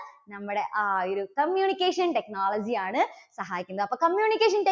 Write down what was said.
നമ്മുടെ ആ ഒരു communication technology യാണ് സഹായിക്കുന്നത്. അപ്പോ communication tech